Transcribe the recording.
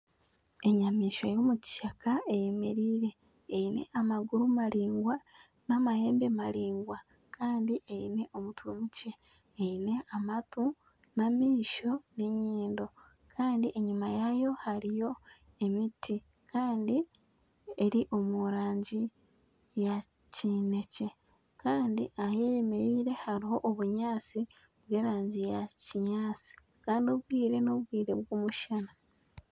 Enyamaishwa y'omu kishaka eyemereire eine amaguru maraingwa n'amahembe maraingwa kandi eine omutwe mukye eine amatu n'amaisho n'enyindo kandi enyuma yaayo hariyo emiti kandi eri omu rangi ka kinekye kandi ahu ayemereire hariho obunyaatsi bw'erangi ya kinyaatsi kandi obwire n'obwire bw'omushana.